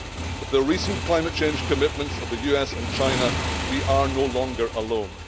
With the recent climate change commitments of the US and China, we are no longer alone.